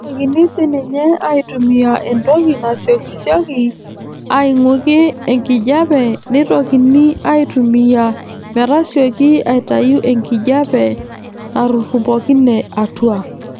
Neitokini siininye aaitumiya entoki nasiyokisiyoki ang'uiki enkijape neitokini aaitumiya metasiyoki aitayu enkijape natupurrokine atua.